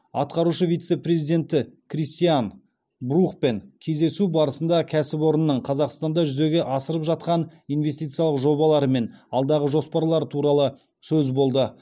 аатқарушы вице президенті кристиан брухпен кездесу барысында кәсіпорынның қазақстанда жүзеге асырып жатқан инвестициялық жобалары мен алдағы жоспарлары туралы сөз болды